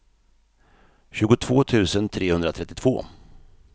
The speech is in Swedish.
tjugotvå tusen trehundratrettiotvå